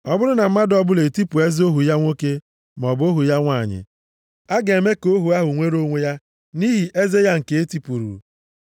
Ọ bụrụ na mmadụ ọbụla etipụ eze ohu ya nwoke maọbụ ohu ya nwanyị, a ga-eme ka ohu ahụ nwere onwe ya nʼihi eze ya nke e tipụrụ.